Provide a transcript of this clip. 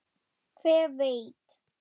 Hver veit?